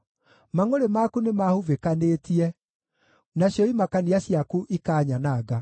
Mangʼũrĩ maku nĩmahubĩkanĩtie, nacio imakania ciaku ikanyananga.